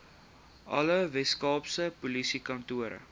alle weskaapse polisiekantore